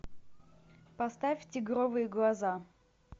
поставь тигровые глаза